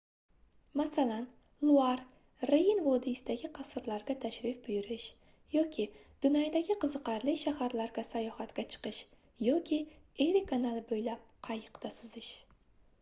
masalan luar reyn vodiysidagi qasrlarga tashrif buyurish yoki dunaydagi qiziqarli shaharlarga sayohatga chiqish yoki eri kanali boʻylab qayiqda suzish